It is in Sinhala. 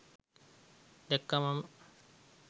දැක්කා මම.